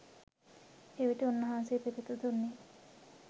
එවිට උන්වහන්සේ පිළිතුරු දුන්නේ